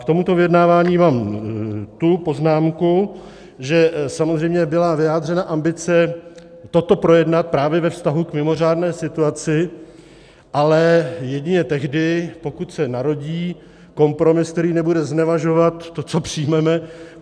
K tomuto vyjednávání mám tu poznámku, že samozřejmě byla vyjádřena ambice toto projednat právě ve vztahu k mimořádné situaci, ale jedině tehdy, pokud se narodí kompromis, který nebude znevažovat to, co přijmeme.